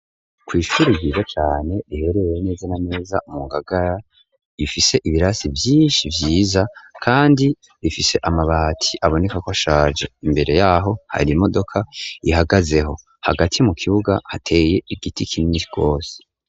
kw'ishure ryiza cane riherereye neza na neza mu ngagara ifise ibirasi vyinshi vyiza kandi bifise amabati abonekako ashaje imbere yaho hari imodoka ihagazeho hagati mu kibuga hateye igiti kinini rwose.